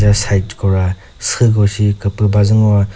side ko ra süh ko shi küpüh bazü ngoa--